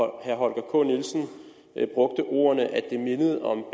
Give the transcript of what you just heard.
herre holger k nielsen brugte ordene at det mindede om